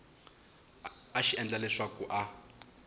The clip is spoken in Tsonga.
a xi endla leswaku a